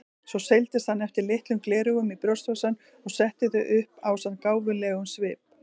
Svo seildist hann eftir litlum gleraugum í brjóstvasann og setti þau upp ásamt gáfulegum svip.